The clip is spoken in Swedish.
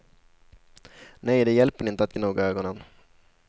Nej, det hjälper inte att gnugga ögonen.